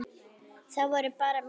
Það voru bara mistök.